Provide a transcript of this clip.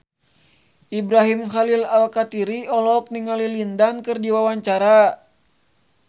Ibrahim Khalil Alkatiri olohok ningali Lin Dan keur diwawancara